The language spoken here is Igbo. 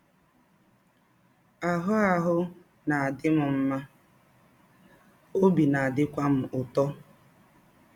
Ahụ́ Ahụ́ na - adị m mma, ọbi na - adịkwa m ụtọ. ”